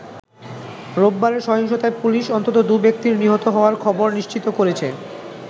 রোববারের সহিংসতায় পুলিশ অন্তত দু'ব্যক্তির নিহত হওয়ার খবর নিশ্চিত করেছে।